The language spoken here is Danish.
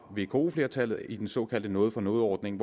vk flertallet i den såkaldte noget for noget ordning